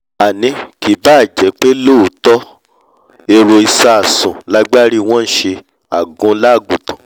àní kì báà jẹ́pé lóòótọ́ èrò ìsásùn l'agbárí wọ́n nṣẹ àgunlá àgùntàn